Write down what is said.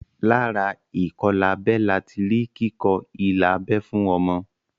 Lára ìkọlábẹ lati rí kíkọ ilà abẹ́ fún ọmọ